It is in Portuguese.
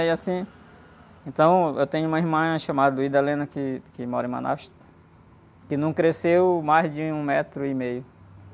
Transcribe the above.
E, assim... Então, tenho uma irmã chamada, que, que mora em Manaus, que não cresceu mais de um metro e meio.